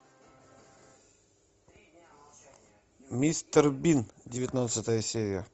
мистер бин девятнадцатая серия